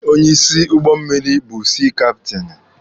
Onye isi ụgbọ mmịrị bụ sii kaptini.